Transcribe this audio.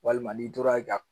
Walima n'i tora